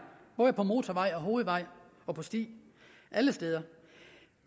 både på motorvej og på hovedvej og på sti alle steder